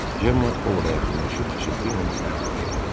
Cemma Ovoda yaxınlaşıb pıçıltıyla əlavə elədi.